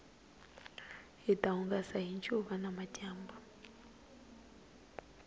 hita hungasa hi ncuva namadyambu